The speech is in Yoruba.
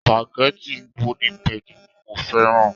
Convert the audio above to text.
Supageti golden penny ni mo fẹ́ràn.